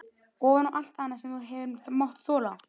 Ofan á allt annað sem þú hefur mátt þola?